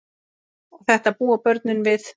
Og þetta búa börnin við.